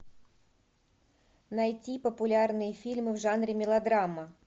найти популярные фильмы в жанре мелодрама